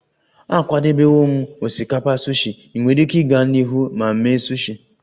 Akwadebewo m osikapa sushi, ị nwere ike ịga n'ihu ma mee sushi